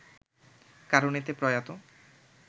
কারণ এতে প্রয়াত